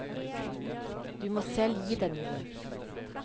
Du må selv gi den noe.